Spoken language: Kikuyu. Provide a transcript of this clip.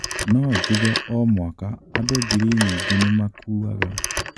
Nojuge o mwaka, andũ ngiri nyingĩ nĩ makuaga.